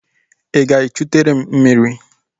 Ị ga-echụtere m mmiri?